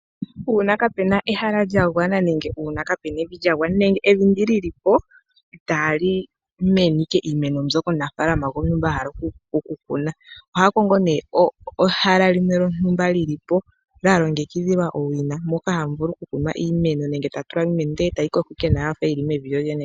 Uuna kaapuna ehala lya gwana, nenge uuna kaapuna evi lya gwana, nenge evi ndi li lipo itaali mene iimeno mbyoka omunafaalama gwontumba a hala okukuna. Oha kongo nee ehala limwe lyontumba li lipo lya longekidhilwa owina moka hamu vulu oku kunwa iimeno nenge ta tula mo iimeno ndele etayi koko ashike nawa yafa yili mevi lyolyene.